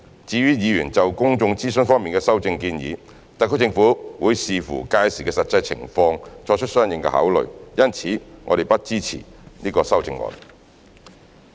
至於議員就公眾諮詢方面的修正建議，特區政府會視乎屆時的實際情況作出相應考慮，因此我們不支持這些修正案。